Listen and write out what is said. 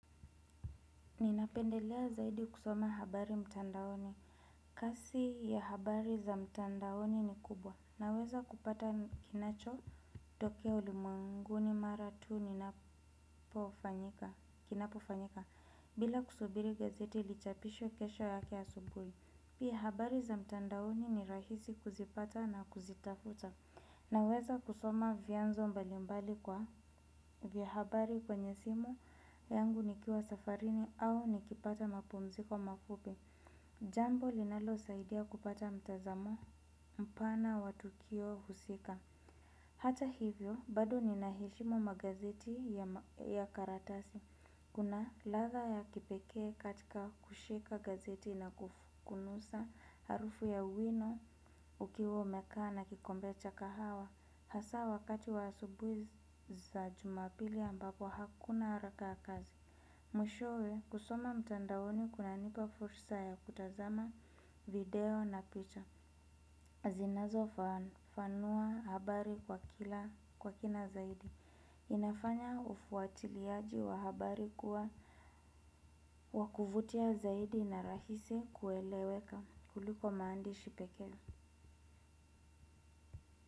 Ninapendelea zaidi kusoma habari mtandaoni. Kasi ya habari za mtandaoni ni kubwa. Naweza kupata kinachotokea ulimwenguni mara tu ninapofanyika, kinapofanyika bila kusubiri gazeti lichapishwe kesho yake asubuhi. Pia habari za mtandaoni ni rahisi kuzipata na kuzitafuta. Naweza kusoma vyanzo mbalimbali kwa vya habari kwenye simu yangu nikiwa safarini au nikipata mapumziko mafupi. Jambo linalosaidia kupata mtazamo mpana wa tukio husika. Hata hivyo, bado nina heshimu magazeti ya karatasi. Kuna ladha ya kipekee katika kushika gazeti na kunusa harufu ya wino ukiwa umekaa na kikombe cha kahawa. Hasaa wakati wa asubuhi za jumapili ambako hakuna haraka ya kazi. Mwishowe kusoma mtandaoni kunanipa fursa ya kutazama video na picha. Zinazofafanua habari kwa kila kwa kina zaidi. Inafanya ufuatiliaji wa habari kuwa wa kuvutia zaidi na rahisi kueleweka kuliko maandishi pekee.